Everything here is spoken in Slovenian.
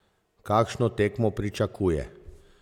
Kakšno tekmo pričakuje?